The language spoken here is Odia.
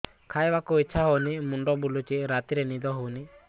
ଖାଇବାକୁ ଇଛା ହଉନି ମୁଣ୍ଡ ବୁଲୁଚି ରାତିରେ ନିଦ ହଉନି